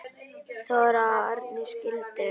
Þóra og Árni skildu.